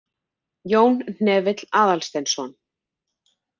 Jón Hnefill Aðalsteinsson.